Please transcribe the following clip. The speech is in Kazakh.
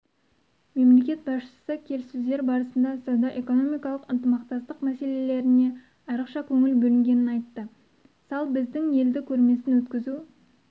мемлекет басшысы келіссөздер барысында сауда-экономикалық ынтымақтастық мәселелеріне айрықша көңіл бөлінгенін айтты салл біздің елді көрмесін өткізу